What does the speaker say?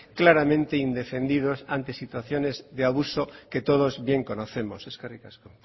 claramente indefendidos ante situaciones de abuso que todos bien conocemos eskerrik asko